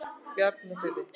Bjarnarfirði